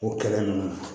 O kɛlɛ ninnu